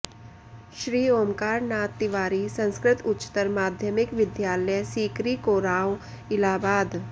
श्री ओंकार नाथ तिवारी संस्कृत उच्चतर माध्यमिक विद्यालय सिकरी कोराँव इलाहाबाद